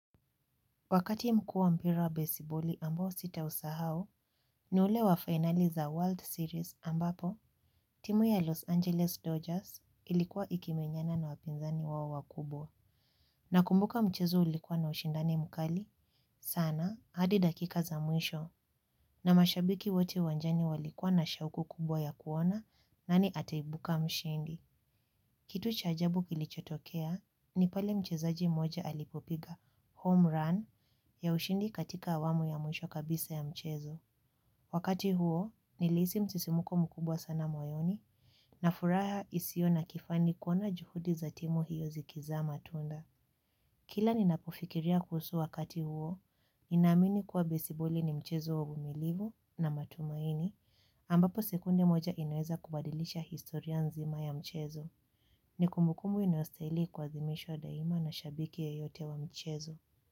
Wakati mkuu wa mpira wa baseballi ambao sitausahao, ni ule wa finali za World Series ambapo, timu ya Los Angeles Dodgers ilikuwa ikimenyana na wapinzani wao wakubwa. Nakumbuka mchezo ulikuwa na ushindani mkali, sana, hadi dakika za mwisho, na mashabiki wote uwanjani walikuwa na shauku kubwa ya kuona nani ataibuka mshindi. Kitu cha ajabu kilichotokea ni pale mchezaji moja alipopiga, home run, ya ushindi katika awamu ya mwisho kabisa ya mchezo. Wakati huo, nilihisi msisimko mkubwa sana moyoni na furaha isio na kifani kuona juhudi za timu hiyo zikizaa matunda. Kila ninapofikiria kuhusu wakati huo, ninaamini kuwa besiboli ni mchezo wa uvumilivu na matumaini ambapo sekunde moja inaweza kubadilisha historia nzima ya mchezo. Ni kumbukumbu inayostahili kuazimishwa daima na shabiki yeyote wa mchezo.